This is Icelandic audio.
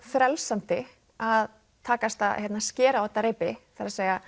frelsandi að takast að skera á þetta reipi það er